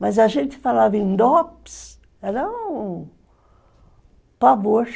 Mas a gente falava em Dopes, era um pavor.